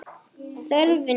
Þörfin knýr.